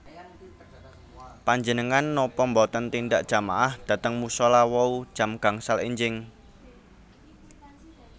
Panjenengan nopo mboten tindak jamaah dhateng musola wau jam gangsal enjing?